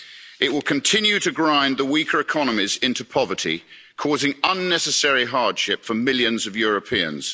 It will continue to grind the weaker economies into poverty, causing unnecessary hardship for millions of Europeans.